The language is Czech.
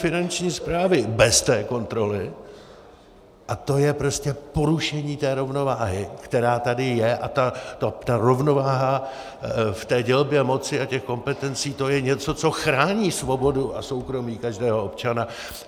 Finanční správy bez té kontroly a to je prostě porušení té rovnováhy, která tady je, a ta rovnováha v té dělbě moci a těch kompetencí, to je něco, co chrání svobodu a soukromí každého občana.